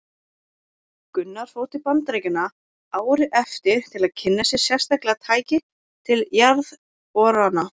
Gunnar fór til Bandaríkjanna árið eftir til að kynna sér sérstaklega tæki til jarðborana.